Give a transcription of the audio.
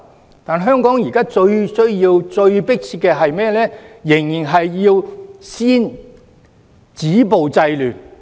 然而，香港現時最迫切需要的，仍然是先止暴制亂。